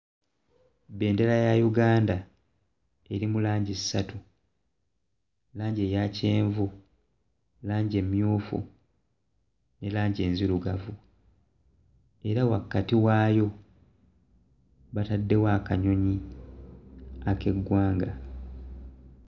Bendera ya Uganda eri mu langi ssatu. Langi eya kyenvu, langi emmyufu ne langi enzirugavu. Era wakati waayo bataddewo akanyonyi ak'eggwanga.